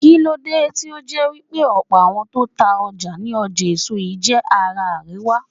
Kíló dé tí ó jẹ́ wípé ọ̀pọ̀ àwọn tó ta ọjà ní ọjà èso yí jé ará àríwá?